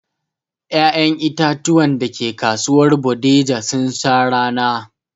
Ƴaƴen itatuwan dake kasuwar Bodija sun sha rana